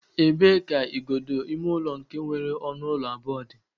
E bee ka igodo ime ụlọ nke nwere ọnụ ụlọ abụọ dị?